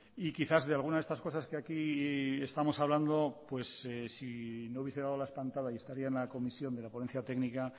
y quizás de alguna de estas cosas que aquí estamos hablando si no hubiese dado la espantada y estaría en la comisión de la ponencia técnica